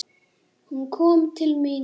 Hún kom til mín.